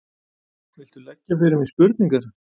Viltu leggja fyrir mig spurningar?